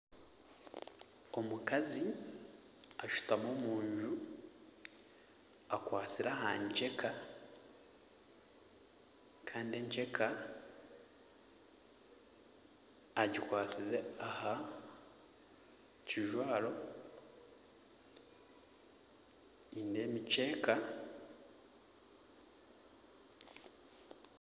Omukazi ashutami omunju akwatsire aha nceka kandi enceka agikwasize aha kijwaro nindeeba emikyeeka.